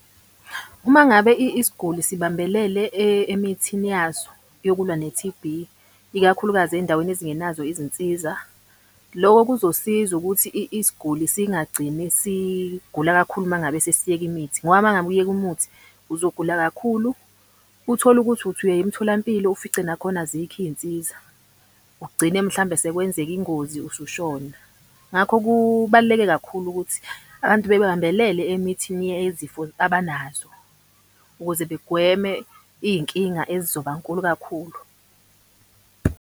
Uma ngabe isiguli sibambelele emithini yaso yokulwa ne-T_B, ikakhulukazi ey'ndaweni ezingenazo izinsiza. Loko kuzosiza ukuthi isiguli singagcini sigula kakhulu uma ngabe sesiyeke imithi. Ngoba uma ngabe uyeka umuthi uzogula kakhulu, uthole ukuthi uthi uya emtholampilo ufice nakhona azikho iy'nsiza, ugcine mhlambe sekwenzeka ingozi usushona. Ngakho kubaluleke kakhulu ukuthi abantu bebambelele emithini yezifo abanazo ukuze begweme iy'nkinga ezizoba nkulu kakhulu.